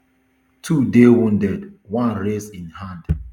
two dey wounded one raise im hand